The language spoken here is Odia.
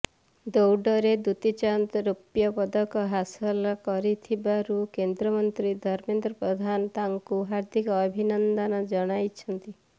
ଦୌଡରେ ଦୂତି ଚାନ୍ଦ ରୌପ୍ୟ ପଦକ ହାସଲ କରିଥିବାରୁ କେନ୍ଦ୍ରମନ୍ତ୍ରୀ ଧର୍ମେନ୍ଦ୍ର ପ୍ରଧାନ ତାଙ୍କୁ ହାର୍ଦ୍ଦିକ ଅଭିନନ୍ଦନ ଜଣାଇଛନ୍ତି